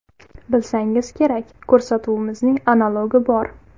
Bilsangiz kerak, ko‘rsatuvimizning analogi bor.